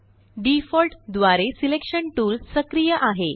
व्डिफॉल्ट द्वारेselection टूल सक्रिय आहे